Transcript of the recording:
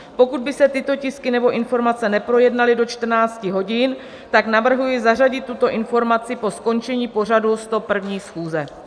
Pokud by se tyto tisky nebo informace neprojednaly do 14 hodin, tak navrhuji zařadit tuto informaci po skončení pořadu 101. schůze.